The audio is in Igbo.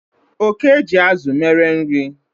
Oke ji azụ mere nri